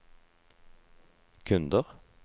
kunder